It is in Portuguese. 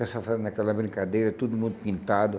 Pessoal fazendo aquela brincadeira, todo mundo pintado.